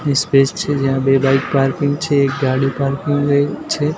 ઈ space છે જ્યાં બે બાઇક પાર્કિંગ છે એક ગાડી પાર્કિંગ એય છે.